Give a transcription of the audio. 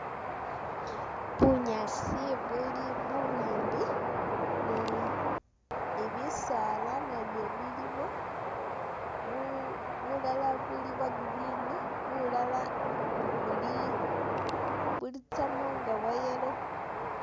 Bunyaasi buli bubwimbi, ni- ni bisaala nabyo bilimo, bulala buli bwa green, bulala buli- butsyamo nga bwa yellow